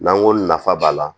N'an ko nafa b'a la